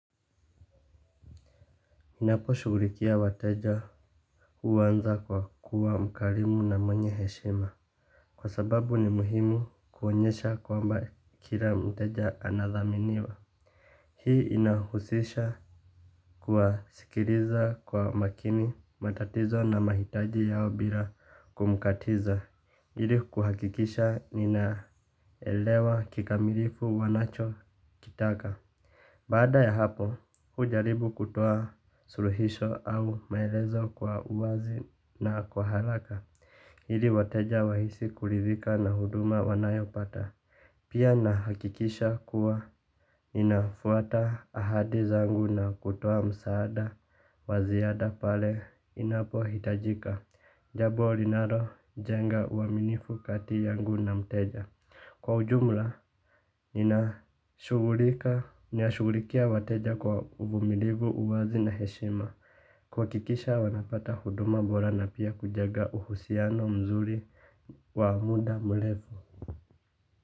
Ninapo shugulikia wateja huanza kwa kuwa mkarimu na mwenye heshima. Kwa sababu ni muhimu kuonyesha kwamba kila mteja anadhaminiwa. Hii inahusisha kuwasikiliza kwa makini matatizo na mahitaji yao bila kumkatiza ili kuhakikisha ninaelewa kikamilifu wanachokitaka. Baada ya hapo, hujaribu kutoa suluhisho au maelezo kwa uwazi na kwa haraka, ili wateja wahisi kurithika na huduma wanayopata. Pia nahakikisha kuwa ninafuata ahadi zangu na kutoa msaada wa ziada pale inapohitajika jambo linalojenga uaminifu kati yangu na mteja. Kwa ujumla, ninashughulikia wateja kwa uvumilivu, uwazi na heshima. Kuhakikisha wanapata huduma bora na pia kujenga uhusiano mzuri wa muda mrefu.